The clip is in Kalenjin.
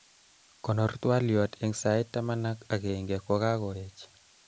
konor twaliot eng sait tamanak akenge kukakoech